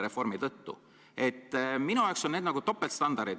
Minu arvates on tegu topeltstandarditega.